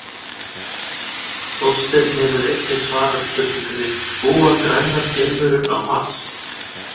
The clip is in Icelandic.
Þorsteinn hefur einnig svarað spurningunni Búa grænar geimverur á Mars?